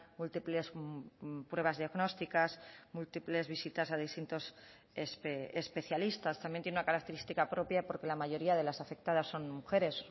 múltiples pruebas diagnósticas múltiples visitas a distintos especialistas también tiene una característica propia porque la mayoría de las afectadas son mujeres